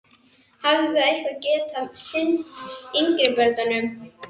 Hafið þið eitthvað getað sinnt yngri börnunum?